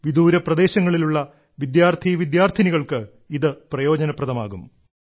രാജ്യത്തെ വിദൂര പ്രദേശങ്ങളിലുള്ള വിദ്യാർത്ഥീ വിദ്യാർത്ഥിനികൾക്ക് ഇത് വലിയ പ്രയോജനപ്രദമാകും